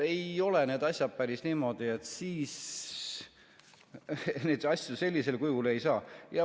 Ei ole need asjad päris niimoodi, et siis neid asju sellisel kujul ei saa.